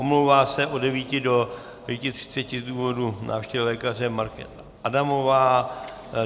Omlouvá se od 9.00 do 9.30 z důvodu návštěvy lékaře Markéta Adamová.